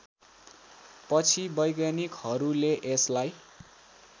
पछि वैज्ञानिकहरूले यसलाई